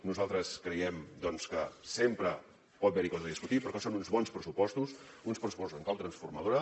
nosaltres creiem doncs que sempre pot haver hi coses a discutir però que són uns bons pressupostos uns pressu postos en clau transformadora